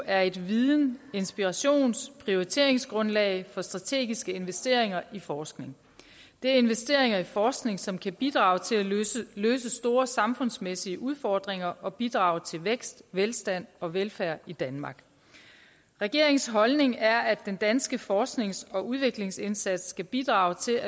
er et videns inspirations og prioriteringsgrundlag for strategiske investeringer i forskning det er investeringer i forskning som kan bidrage til at løse store samfundsmæssige udfordringer og bidrage til vækst velstand og velfærd i danmark regeringens holdning er at den danske forsknings og udviklingsindsats skal bidrage til